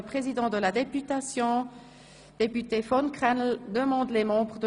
Besteht noch Diskussionsbedarf zu Artikel 12 Absatz